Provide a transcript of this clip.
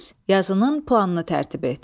Yazının planını tərtib et.